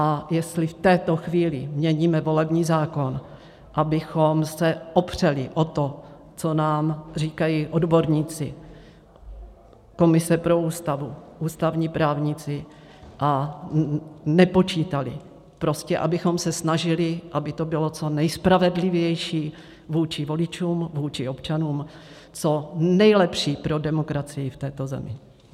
A jestli v této chvíli měníme volební zákon, abychom se opřeli o to, co nám říkají odborníci, komise pro Ústavu, ústavní právníci, a nepočítali, prostě abychom se snažili, aby to bylo co nejspravedlivější vůči voličům, vůči občanům, co nejlepší pro demokracii v této zemi.